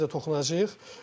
Hə, o məsələyə də toxunacağıq.